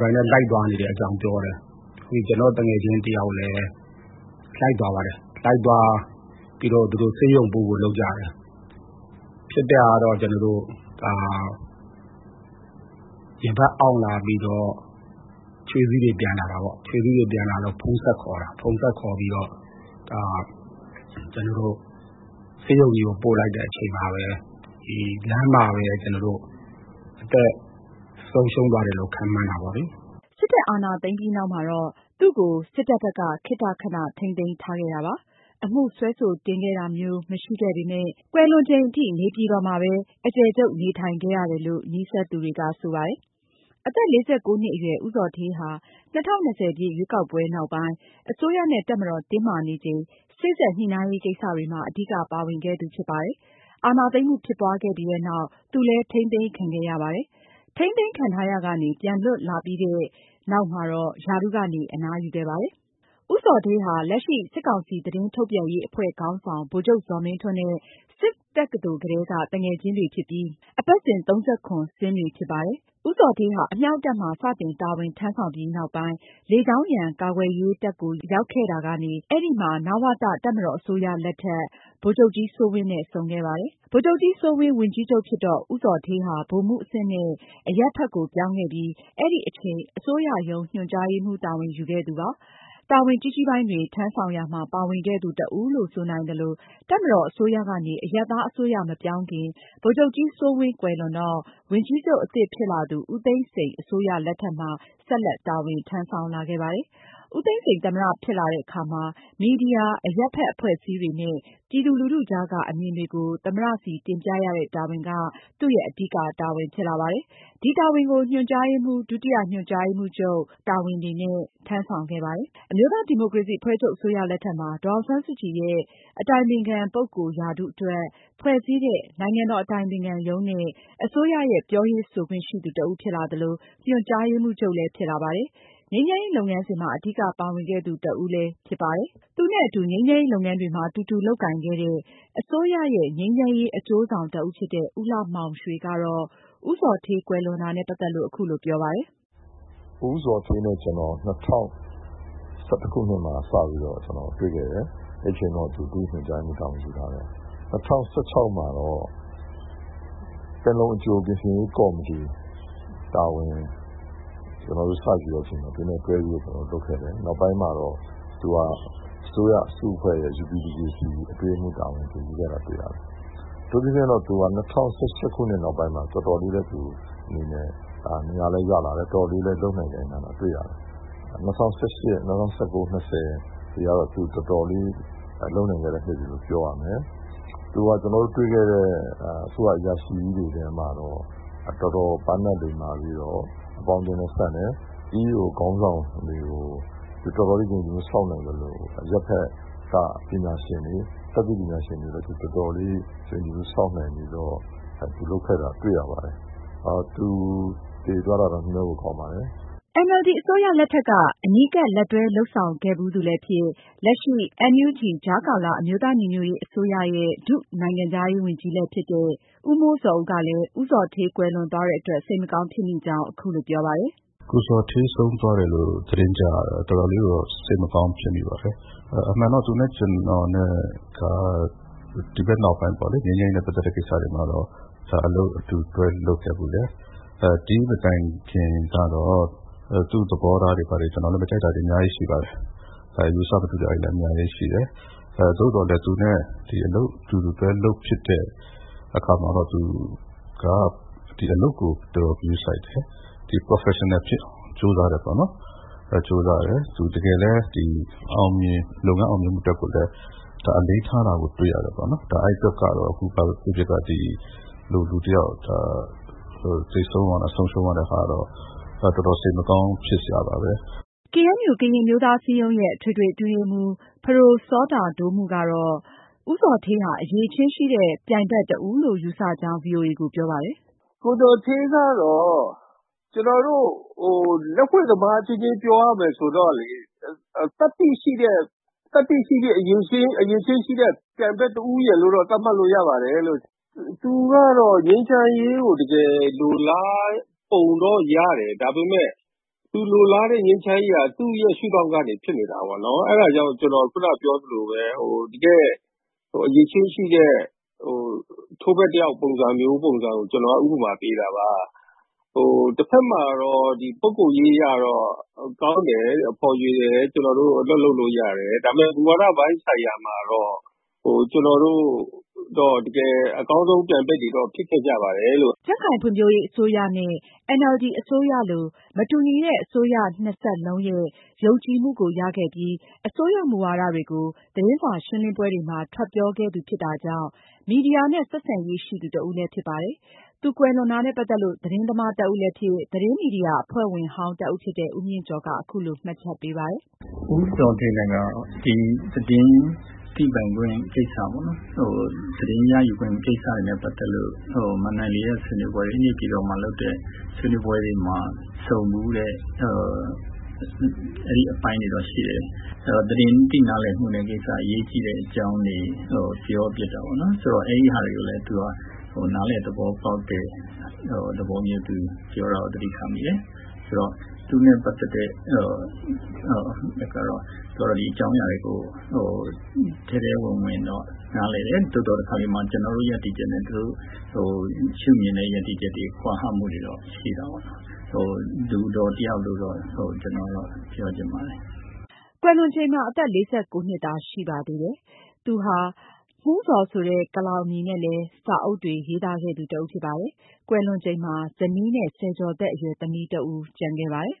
ကိုယ်တိုင်လိုက်သွားနေတဲ့အကြောင်းပြောပါတယ်။ နောက် ကျနော်တို့သူငယ်ချင်းတယောက်လည်း လိုက်သွားပါတယ်။ လိုက်သွားပြီးဆေးရုံပို့ဖို့ လုပ်ကြတယ်။ ဖြစ်တာတော့ ရင်ဘတ်အောင့်လာပြီးတော့ ချွေးစေးပြန်တယ်။ ဖုန်းဆက်ခေါ်တာပေါ့။ ဖုန်း ဆက်ခေါ်တော့ ဆေးရုံကြီးကိုပို့လိုက်တဲ့ အချိန်မှာပဲ လမ်းမှာပဲ အသက်ဆုံးရှုံးတယ် ခန့်မှန်းတာပေါ့လေ။” စစ်တပ်အာဏာသိမ်းပြီးနောက်မှာတော့ သူ့ကို စစ်တပ်ဘက်က ခေတ္တခဏထိန်းသိမ်းထားခဲ့ ပါတယ်။ အသက် ၄၉ နှစ်အရွယ် ဦးဇော်ဌေးဟာ ၂၀၂၀ ရွေးကောက်ပွဲနောက်ပိုင်း အစိုးရနဲ့ တပ်မတော် တင်းမာနေချိန် စေ့စပ်ညှိနှိုင်းရေးကိစ္စတွေမှာ အဓိကပါဝင်ခဲ့သူ ဖြစ်ပါတယ်။ အာဏာ သိမ်းမှုဖြစ်ပွားခဲ့ပြီးတဲ့နောက် သူလည်း ထိန်းသိမ်းခံခဲ့ရပါတယ်။ ထိန်းသိမ်းခံထားရာကနေ ပြန်လည်လွတ်မြောက်လာပြီးတဲ့နောက် ရာထူးကနေ အနားယူခဲ့ပါတယ်။ ဦးဇော်ဌေးဟာ လက်ရှိစစ်ကောင်စီသတင်းထုတ်ပြန်ရေးအဖွဲ့ခေါင်းဆောင် ဗိုလ်ချုပ်ဇော်မင်းထွန်းနဲ့ စစ်တက္ကသိုလ်ကတည်းက သူငယ်ချင်းတွေဖြစ်ပြီး အပတ်စဉ် ဆင်းတွေဖြစ်ပါတယ်။ ဦးဇော်ဌေးဟာ အမြောက်တပ်မှာ စတင်တာဝန်ထမ်းဆောင်ပြီး နောက်ပိုင်း လေကြောင်းရန်ကာကွယ်ရေးတပ်ကို ရောက်ခဲ့ကာ အဲဒီမှာ နဝတ တပ်မတော်အစိုးရ လက်ထက်မှာ ဗိုလ်ချုပ်ကြီးစိုးဝင်းနဲ့ ဆုံခဲ့ပါတယ်။ ဗိုလ်ချုပ်ကြီးစိုးဝင်း ဝန်ကြီးချုပ်ဖြစ်တော့ ဦးဇော်ဌေးဟာ ဗိုလ်မှူးအဆင့်နဲ့ အရပ်ဘက်ကိုပြောင်းခဲ့ပြီး အဲဒီအချိန် အစိုးရရုံး ညွှန်ကြားရေးမှုးတာဝန်ယူခဲ့သူပါ။ တာဝန် ကြီးကြီးပိုင်းတွေ ထမ်းဆောင်ရာမှာ ပါဝင်ခဲ့သူတဦးလို့ ဆိုနိုင်သလို တပ်မတော်အစိုးရကနေ အရပ်သားအစိုးရမပြောင်းခင် ဗိုလ်ချုပ်ကြီးစိုးဝင်း ကွယ်လွန်တော့ ၂၀၀၇ ခုနှစ်မှာ ဝန်ကြီးချုပ်အသစ်ဖြစ်လာသူ ဦးသိန်းစိန်အစိုးရလက်ထက်မှာ ဆက်လက်တာဝန် ထမ်းဆောင်လာခဲ့ပါတယ်။ ဦးသိန်းစိန် သမ္မတဖြစ်လာတဲ့အခါမှာ မီဒီယာ၊ အရပ်ဘက် အဖွဲ့အစည်းတွေနဲ့ ပြည်သူလူထုကြားက အမြင်တွေကို သမ္မတဆီတင်ပြရတဲ့တာဝန်က သူ့ရဲ့အဓိက တာဝန်ဖြစ်လာပါတယ်။ ဒီ တာဝန်ကို ညွှန်ကြားရေးမှူး၊ ဒုတိယ ညွှန်ကြားရေးမှူးချုပ် တာဝန်တွေနဲ့ ထမ်းဆောင်ခဲ့ပါတယ်။ အမျိုးသားဒီမိုကရေစီအဖွဲ့ချုပ်အစိုးရလက်ထက်မှာ ဒေါ်အောင်ဆန်းစုကြည်ရဲ့အတိုင်ပင်ခံပုဂ္ဂိုလ်ရာထူးအတွက် ဖွဲ့စည်းတဲ့ နိုင်ငံတော်အတိုင်ပင်ခံရုံးနဲ့ အစိုးရရဲ့ ပြောရေးဆိုခွင့်ရှိသူတဦး ဖြစ်လာသလို ညွှန်ကြားရေးမှူးချုပ်လည်း ဖြစ်လာပါတယ်။ ငြိမ်းချမ်းရေး လုပ်ငန်းစဉ်မှာ အဓိကပါဝင်ခဲ့ သူတဦးလည်းဖြစ်ပါတယ်။ သူနဲ့အတူငြိမ်းချမ်းရေးလုပ်ငန်းတွေမှာ တူတူလုပ်ကိုင်ခဲ့တဲ့ အစိုးရရဲ့ ငြိမ်းချမ်းရေးအကျိုး ဆောင် တဦးဖြစ်တဲ့ ဦးလှမောင်ရွေကတော့ ဦးဇော်ဌေး ကွယ်လွန်တာနဲ့ပတ်သက်လို့ အခုလို ပြောပါတယ်။ “ဦးဇော်ဌေးနဲ့ ကျနော် ၂၀၁၁ ခုနှစ်မှာ စတွေ့ခဲ့တယ်။ အဲချိန်က ဒုညွှန်ကြားရေးမှူးချုပ်တာဝန် ယူထားတယ်။ ၂၀၁၆ မှာ ပင်လုံ အကြိုပြင်ဆင်ရေးကော်မတီ ကျနော်တို့စယူတော့ ကျနော် တို့ တွဲလုပ်ခဲ့တယ်။ နောက်ပိုင်းမှာတော့ သူက အစိုးရအဖွဲ့ ငြိမ်းချမ်းရေးအဖွဲ့UPDJC ရဲ့ အတွင်း ရေးမှူးတာဝန်ယူခဲ့တာတွေ့ရတယ်။ အထူးသဖြင့် ၂၀၁၈ နောက်ပိုင်း သူတော်တော်လေး နေရာရလာတယ်။ တော်တော်လေး လုပ်နိုင်ကိုင်နိုင်လာတာ တွေ့ရတယ်။ ၂၀၁၈၊ ၂၀၁၉၊ ၂၀၂၀ ကတော့သူတော်တော်လေး လုပ်နိုင်ခဲ့တဲ့ နှစ်လို့ပြောရမယ်။ သူကကျနော်တို့တွေ့ဖူးတဲ့ အစိုးရအရာရှိထဲမှာတော့ တော်တော် ပါးနပ်လိမ္မာပြီးတော့ အပေါင်းအသင်းဆန့်တယ်။ EAO ခေါင်း ဆောင်တွေကြား တော်တော်လေးယုံကြည်မှုဆောက်နိုင်သလို အရပ်ဘက်က တတ်သိပညာရှင်တွေနဲ့လည်း တော်တော်လေးယုံကြည်မှု တည်ဆောက်နိုင်အောင်လုပ်ခဲ့တာတွေ့ရပါတယ်။ သူဆုံးတာတော်တော်နှမြောမိပါတယ်။” NLD အစိုးရလက်ထက်က အနီးကပ် လက်တွဲလုပ်ဆောင်ခဲ့ဖူးသူလည်းဖြစ်၊ လက်ရှိမှာ NUG ကြားကာလအမျိုးသားညီညွတ်ရေးအစိုးရရဲ့ ဒုတိယနိုင်ငံခြားရေးဝန်ကြီးလည်းဖြစ်တဲ့ ဦးမိုးဇော်ဦးကလည်း ဦးဇော်ဌေး ကွယ်လွန်သွားတဲ့အတွက် စိတ်မကောင်းဖြစ်မိကြောင်း အခုလို ပြောပါတယ်။ “ကိုဇော်ဌေးဆုံးသွားတယ်လို့ သတင်းကြားရတာ တော်တော်လေးတော့ စိတ်မကောင်းဖြစ်မိပါတယ်။ အမှန်တော့ သူနဲ့ကျနော်နဲ့က ဒီဘက်နောက်ပိုင်း ငြိမ်းချမ်းရေးနဲ့ပတ်သက်တဲ့ကိစ္စတွေမှာတော့ အလုပ်အတူတွဲလုပ်ခဲ့ဖူးတယ်။ ဒိမတိုင်ခင်ကတော့ သူ့သဘောထားတွေ ဘာတွေ ကျနော်လည်းမကြိုက်တာတွေ အများကြီးရှိပါတယ်။ အယူအဆမတူတာတွေလည်း အများကြီးရှိတယ်။ သို့သော်လည်း သူနဲ့အလုပ်အတူတူ တွဲလုပ်ဖြစ်တဲ့အခါမှာတော့ သူက အလုပ်ကို တော်တော်ဂရုစိုက်တယ်။ professional ဖြစ်အောင် တော်တော်ကြိုးစားတယ်ပေါ့နော်။ တကယ်လည်း လုပ်ငန်းအောင်မြင်မှုအတွက်ကိုလည်း အလေးထားတာကို တွေ့ရတယ်ပေါ့နော်။ ဒါကတော့ ဘာပဲဖြစ်ဖြစ်၊ ဒီလိုလူတယောက် သေဆုံးသွားတာ၊ ဆုံးရှုံးရတဲ့ဟာကတော့ တော်တော်စိတ်မကောင်းဖြစ်စရာပါပဲ။” KNU ကရင်အမျိုးသားအစည်းအရုံးရဲ့ အထွေထွေအတွင်းရေးမှူး ပဒို စောတာဒိုမူးကတော့ ဦးဇော်ဌေးဟာ အရည်အချင်းရှိတဲ့ ပြိုင်ဘက်တဦးလို့ ယူဆကြောင်း ဗွီအိုအေကို ပြောပါတယ်။ “ကိုဇော်ဌေးကတော့ ကျနော်တို့ လက်ဝှေ့သမားအချင်းချင်းပြောရမယ်ဆိုလို့ရှိရင် သတ္တိရှိတဲ့၊ အရည်အချင်းရှိတဲ့ပြိုင်ဘက်တဦးရယ်လို့တော့ သတ်မှတ်လို့ရပါတယ်။ သူကတော့ ငြိမ်းချမ်းရေးကို တကယ် လိုလားပုံတော့ရတယ်။ ဒါပေမယ့် သူလိုလားတဲ့ငြိမ်းချမ်းရေးဟာ သူ့ရဲ့ရှုဒေါင့်ကနေဖြစ်နေတာပေါ့နော်၊ အဲဒါကြောင့် ကျနော် အခုနကပြောသလိုပဲ၊ တကယ့်အရည်အချင်းရှိတဲ့ ထိုးဘက်တယောက်ပုံစံမျိုးဆိုတာကို ကျနော်က ဥပမာပေးတာပါ။ တဘက်မှာတော့ ပုဂ္ဂိုလ်ရေးအရကတော့ ကောင်းတယ်၊ ဖော်ရွေတယ်။ ကျနော်တို့အလုပ်လုပ်လို့ရတယ်။ ဒါပေမယ့် မူဝါဒပိုင်းဆိုင်ရာမှာတော့ ကျနော်တို့ တကယ် အကောင်းဆုံးပြိုင်ဘက်တွေတော့ ဖြစ်ခဲ့ကြပါတယ်လို့။” ကြံ့ခိုင်ရေးအစိုးရနဲ့ NLD အစိုးရလို မတူညီတဲ့ အစိုးရ နှစ်ဆက်လုံးရဲ့ ယုံကြည်မှုကိုရခဲ့ပြီး အစိုးရမူဝါဒတွေကို သတင်းစာရှင်းလင်းပွဲတွေမှာ ထွက်ပြောခဲ့သူဖြစ်တာကြောင့် မီဒီယာနဲ့ ဆက်ဆံရေးရှိသူတဦးလည်းဖြစ်ပါတယ်။ သူကွယ်လွန်တာနဲ့ပတ်သက်လို့ သတင်းသမားတဦးလည်းဖြစ် သတင်းမီဒီယာအဖွဲ့ဝင် ဟောင်းတဦးဖြစ်တဲ့ ဦးမြင့်ကျော်က အခုလိုမှတ်ချက်ပေးပါတယ်။ “ဦးဇော်ဌေးနဲ့ပတ်သက်လို့ကတော့ သတင်းရယူခွင့်ကိစ္စပေါ့။ မဏ္ဍိုင် ၄ ရပ်ဆွေးနွေးပွဲတွေ နေပြည်တော်မှာလုပ်တဲ့ဟာတွေမှာ ဆုံဖူးတယ်။ အဲအပိုင်းတွေတော့ရှိတယ်။ သတင်း သိနားလည်မှုအကြောင်းတွေ အရေးကြီးတယ်ဆိုတာ ပြောဖြစ်တော့ အဲဒါတွေက အရေးကြီးတယ် ဆိုတာမျိုး နားလည်တာကိုပြောတာ သတိထားမိတယ်။ သူနဲ့ပတ်သက်တဲ့မှတ်ချက်ကတော့ သူက ဒီအကြောင်းအရာတွေကို နှံ့စပ်သူတယောက်ဖြစ်တယ်၊ ထဲထဲဝင်ဝင်နားလည်တယ်။ တခါတလေ ကျနော်တို့ရပ်တည်ချက်နဲ့သူတို့ ရှုမြင်တဲ့ ရပ်တည်ချက် ကွာဟမှုတွေတော့ ရှိတာပေါ့။ လူတော် တယောက်လို့တော့ပြောချင်ပါတယ်။” ကွယ်လွန်ချိန်မှာ အသက် ၄၉ နှစ်သာ ရှိသေးပါတယ်။ သူဟာ မှူးဇော်ဆိုတဲ့ကလောင်အမည်နဲ့လည်း စာအုပ်တွေ ရေးသားခဲ့သူတဦးဖြစ်ပါတယ်။ ကွယ်လွန်ချိန်မှာ ဇနီးနဲ့ ဆယ်ကျော်သက် အရွယ်သမီးတဦး ကျန်ရစ်ခဲ့ပါတယ်။